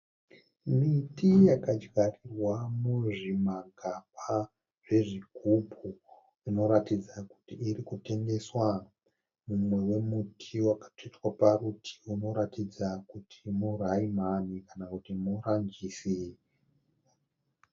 Miti yakadyarwa muzvimagaba zvezvigubhu. Unoratidza kuti irikutengeswa . Mumwe wemuti wakatsvetwa parutivi unoratidza kuti muRamani kana kuti muRanjisi.